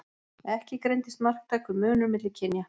Ekki greindist marktækur munur milli kynja.